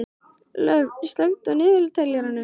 Lofn, slökktu á niðurteljaranum.